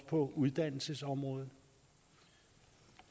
på uddannelsesområdet